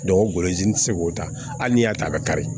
o golozi n tɛ se k'o ta hali n'i y'a ta a bɛ kari